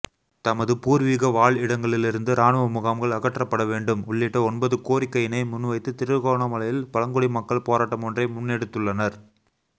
தமது பூர்விக வாழிடங்களிலிருந்து இராணுவமுகாம்கள் அகற்றப்படவேண்டும் உள்ளிட்ட ஒன்பது கோரிக்கையினை முன்வைத்து திருகோணமலையில் பழங்குடி மக்கள் போராட்டம் ஒன்றை முன்னெடுத்துள்ளனர்